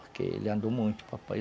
Porque ele andou muito, o papai.